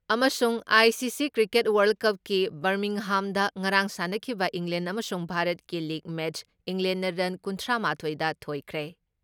ꯑꯃꯁꯨꯡ I C C cricket world ꯀꯞꯀꯤ ꯕꯔꯃꯤꯡꯍꯥꯝꯗ ꯉꯔꯥꯡ ꯁꯥꯟꯅꯈꯤꯕ ꯏꯪꯂꯦꯟ ꯑꯃꯁꯨꯡ ꯚꯥꯔꯠꯀꯤ ꯂꯤꯛ ꯃꯦꯠꯁ ꯏꯪꯂꯦꯟꯅ ꯔꯟ ꯀꯨꯟꯊ꯭ꯔꯥ ꯃꯥꯊꯣꯏꯗ ꯊꯣꯏꯈ꯭ꯔꯦ ꯫